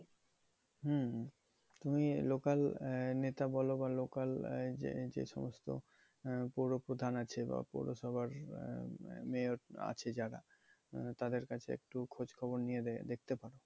হম তুমি local নেতা বলো বা local যে যে সমস্ত পৌর প্রধান আছে বা পৌরসভার মেয়র আছে যারা, তাদের কাছে একটু খোঁজখবর নিয়ে দে~ দেখতে পারো।